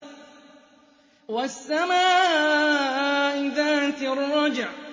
وَالسَّمَاءِ ذَاتِ الرَّجْعِ